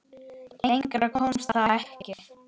Lengra komst það ekki.